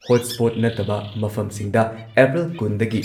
ꯍꯣꯠ spot ꯅꯠꯇꯕ ꯃꯐꯝꯁꯤꯡꯗ April ꯀꯨꯟꯗꯒꯤ